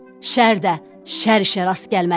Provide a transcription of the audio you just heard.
Şər də şər ilə rast gəlməlidir.”